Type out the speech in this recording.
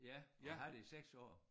Ja og haft det i 6 år